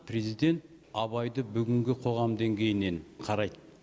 президент абайды бүгінгі қоғам деңгейінен қарайды